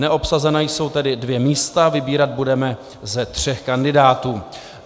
Neobsazena jsou tedy dvě místa, vybírat budeme ze tří kandidátů.